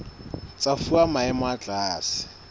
tsa fuwa maemo a tlase